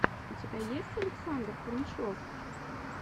у тебя есть александр фомичев